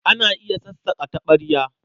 Ana iya sassaƙa taɓarya.